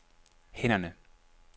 hænderne